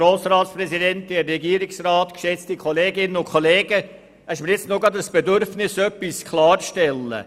Es ist mir ein Bedürfnis, etwas klarzustellen.